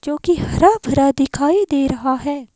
जो कि हवा भरा दिखाई दे रहा है।